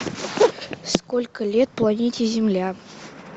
сколько лет планете земля